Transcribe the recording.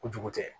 Kojugu tɛ